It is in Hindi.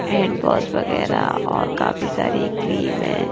एंड बस वगैरह और काफी सारी क्रीम है।